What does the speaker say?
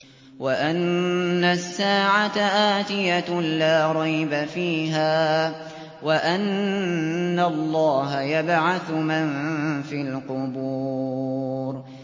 وَأَنَّ السَّاعَةَ آتِيَةٌ لَّا رَيْبَ فِيهَا وَأَنَّ اللَّهَ يَبْعَثُ مَن فِي الْقُبُورِ